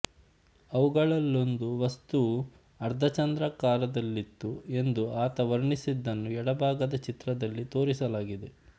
ಅವುಗಳಲ್ಲೊಂದು ವಸ್ತುವು ಅರ್ಧಚಂದ್ರಾಕಾರದಲ್ಲಿತ್ತು ಎಂದು ಆತ ವರ್ಣಿಸಿದ್ದನ್ನು ಎಡಭಾಗದ ಚಿತ್ರದಲ್ಲಿ ತೋರಿಸಲಾಗಿದೆ